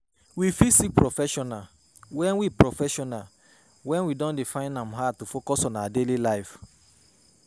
We fit seek professional when we professional when we don dey find am hard to focus on our daily life